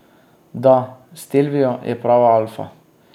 Da, stelvio je prava alfa.